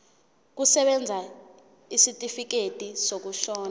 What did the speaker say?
kusebenza isitifikedi sokushona